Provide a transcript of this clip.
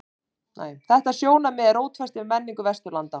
Þetta sjónarmið er rótfast í menningu Vesturlanda.